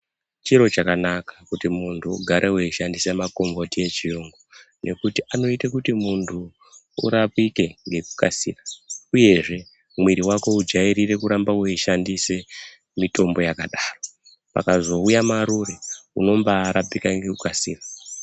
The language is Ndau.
Chiro chakanaka kuti muntu ugare weishandisa makomboti echiyungu ngekuti anoite kuti muntu urapike ngekukasika uye zvemwiri wako udyairire kurambe weishandise mutombo yakadai pakazouya marure unombarapika ngekukasira .